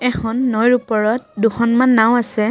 এখন নৈৰ ওপৰত দুখনমান নাওঁ আছে।